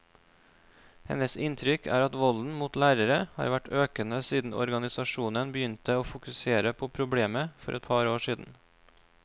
Hennes inntrykk er at volden mot lærere har vært økende siden organisasjonen begynte å fokusere på problemet for et par år siden.